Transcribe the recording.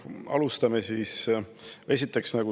Aitäh!